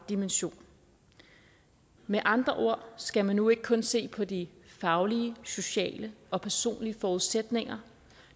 dimension med andre ord skal man nu ikke kun se på de faglige sociale og personlige forudsætninger